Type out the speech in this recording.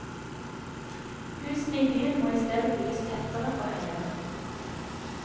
Husene i byen må i stedet bygges tettere og høyere.